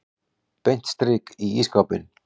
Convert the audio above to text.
Beint strik í ísskápinn.